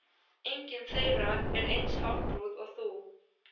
Vill hann þar sýnilega eigna Húnvetningum eitthvað af vísum Guðmundar.